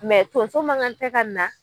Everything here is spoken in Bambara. tonso ma ŋan tɛ ka na